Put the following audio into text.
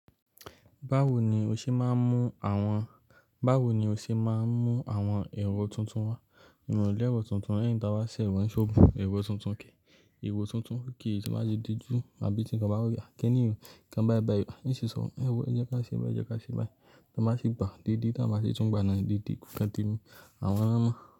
Báwo ni o ṣe máa ń mú àwọn, báwo ni o ṣe máa ń mú àwọn èrò tuntun wá? Ìmọ̀lẹ̀ ẹ̀rọ tuntun, lẹ́yìn tí àwa ṣe ẹ̀wọ̀n sóòbù, ẹ̀rọ tuntun kì í, ẹ̀rọ tuntun kì í sì máa ṣe dúdú àbí ti kan ba rí i àkẹ́ ní ìwé, kí kan bayii bayii ewo, ẹ́ sì sọ, ẹ̀rọ ẹ jẹ́ ká ṣe bẹ́ẹ̀, ẹ jẹ́ ká ṣe báyìí, tí wọ́n bá ṣi gbà, dede tí wọ́n bá ṣi tún gba naa, dede kùn kẹ̀tẹ̀ mi, àwọn lo má.